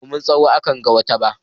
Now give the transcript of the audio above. Ba domin tsawo akanga wata ba.